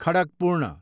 खडकपूर्ण